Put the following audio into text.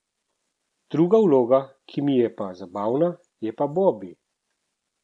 Druga vloga, ki mi je pa zabavna, je pa Bobi.